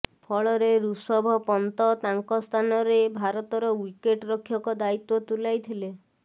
ଫଳରେ ଋଷବ ପନ୍ତ ତାଙ୍କ ସ୍ଥାନରେ ଭାରତର ୱିକେଟ୍ ରକ୍ଷକ ଦାୟିତ୍ବ ତୁଲାଇଥିଲେ